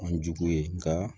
An jugu ye nka